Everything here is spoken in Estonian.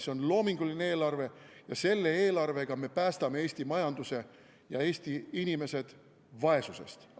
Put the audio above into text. See on loominguline eelarve ja selle eelarvega me päästame Eesti majanduse ja Eesti inimesed vaesusest.